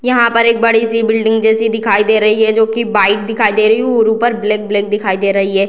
यहाँ पर एक बड़ी सी बिल्डिंग जैसी दिखाई दे रही है जो की वाइट दिखाई दे रही है उ और ऊपर ब्लैक -ब्लैक दिखाई दे रही है।